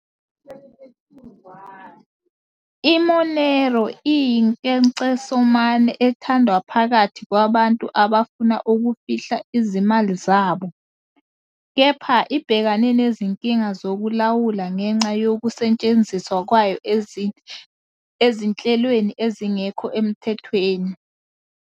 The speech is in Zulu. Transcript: I-Monero iyinkecesomane ethandwa phakathi kwabantu abafuna ukufihla izimali zabo, kepha ibhekane nezinkinga zokulawula ngenxa yokusetshenziswa kwayo ezinhlelweni ezingekho emthethweni.